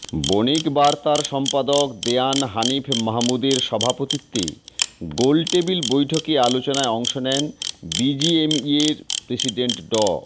বণিক বার্তার সম্পাদক দেওয়ান হানিফ মাহমুদের সভাপতিত্বে গোলটেবিল বৈঠকে আলোচনায় অংশ নেন বিজিএমইয়ের প্রেসিডেন্ট ড